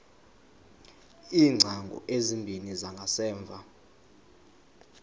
iingcango ezimbini zangasemva